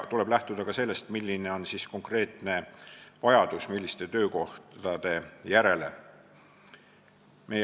Tuleb lähtuda ka sellest, milliste töökohtade järele on konkreetne vajadus.